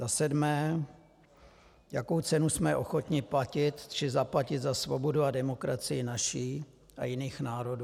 Za sedmé: Jakou cenu jsme ochotni platit či zaplatit za svobodu a demokracii naši a jiných národů?